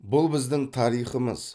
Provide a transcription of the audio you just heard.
бұл біздің тарихымыз